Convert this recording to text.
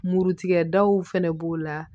Murutigɛ daw fɛnɛ b'o la